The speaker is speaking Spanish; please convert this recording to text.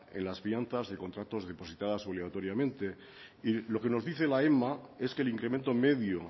en las fianzas de los contratos depositadas obligatoriamente lo que nos dice la ema es que el incremento medio